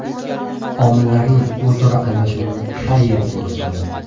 Omillarning o‘zaro almashinuvini har yerda ko‘rsa bo‘ladi.